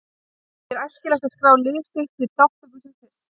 Því er æskilegt að skrá lið sitt til þátttöku sem fyrst.